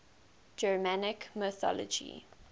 germanic mythology